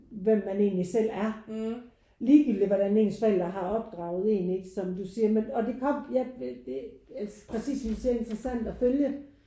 Hvem man egentlig selv er ligegyldigt hvordan ens forældre har opdraget en ikke? Som du siger men og det kom ja det altså præcist som du siger at følge